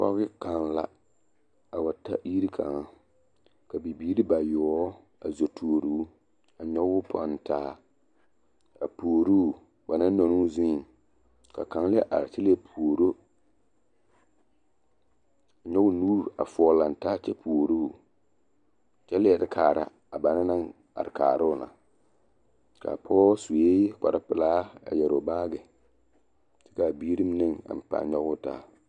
Pɔge kaŋa la a wa ta yiri kaŋa ka Bibiiri bayoɔbo a zo tuori o a nyɔge o pɔnne taa a puori o ba naŋ nɔŋ o zuiŋ kaŋa la are kyɛ leɛ puori o nyɔge o nu foɔ lantaa a puori o kyɛ leɛ kaara a banaŋ naŋ kaara o na a Pɔge sue kpare pelaa kyɛ ka biiri mine a nyɔge o taa.